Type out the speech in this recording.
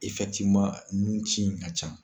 nunci in ka can.